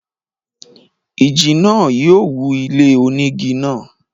ìjì náà yóò wú ilé onígi náà.